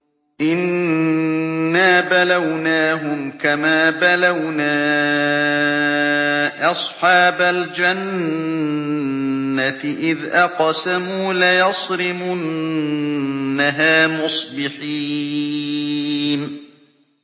إِنَّا بَلَوْنَاهُمْ كَمَا بَلَوْنَا أَصْحَابَ الْجَنَّةِ إِذْ أَقْسَمُوا لَيَصْرِمُنَّهَا مُصْبِحِينَ